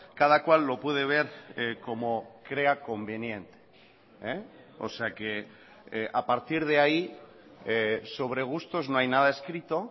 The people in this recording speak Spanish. cada cual lo puede ver como crea conveniente o sea que a partir de ahí sobre gustos no hay nada escrito